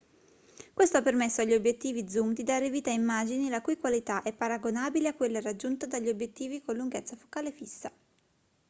questo ha permesso agli obiettivi zoom di dare vita a immagini la cui qualità è paragonabile a quella raggiunta dagli obiettivi con lunghezza focale fissa